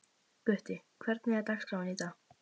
Gutti, hvernig er dagskráin í dag?